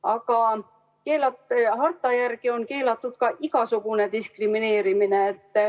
Aga harta järgi on keelatud igasugune diskrimineerimine.